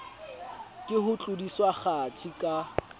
ke ho tlodiswa kgathi ka